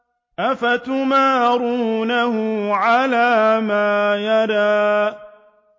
أَفَتُمَارُونَهُ عَلَىٰ مَا يَرَىٰ